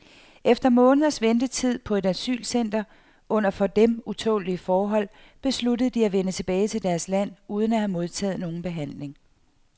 Efter måneders ventetid på et asylcenter, under for dem utålelige forhold, besluttede de at vende tilbage til deres land uden at have modtaget nogen behandling.